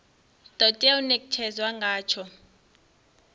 do tea u netshedzwa ngatsho